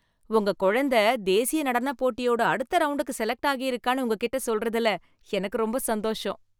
உங்க குழந்த தேசிய நடனப் போட்டியோட அடுத்த ரவுண்டுக்கு செலக்ட் ஆகியிருக்கான்னு உங்ககிட்ட சொல்றதுல எனக்கு ரொம்ப சந்தோஷம்.